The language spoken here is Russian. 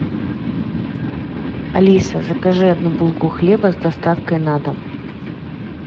алиса закажи одну булку хлеба с доставкой на дом